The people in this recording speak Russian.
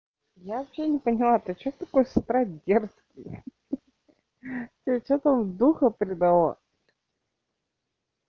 я вообще не поняла ты что такое с утра дерзкий тебе что там духа предало